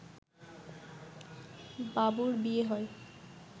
বাবুর বিয়ে হয়